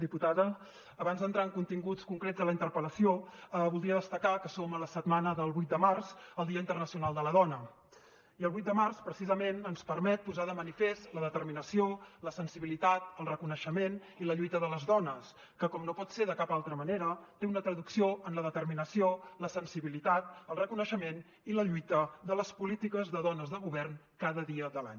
diputada abans d’entrar en continguts concrets de la interpellació voldria destacar que som en la setmana del vuit de març el dia internacional de la dona i el vuit de març precisament ens permet posar de manifest la determinació la sensibilitat el reconeixement i la lluita de les dones que com no pot ser de cap altra manera té una traducció en la determinació la sensibilitat el reconeixement i la lluita de les polítiques de dones de govern cada dia de l’any